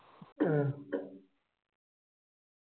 മ്മ്